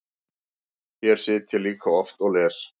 Hér sit ég líka oft og les.